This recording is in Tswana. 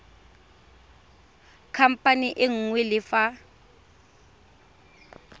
khamphane e nngwe le fa